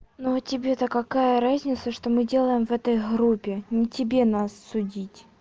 но тебе-то какая разница что мы делаем в этой группе не тебе нас судить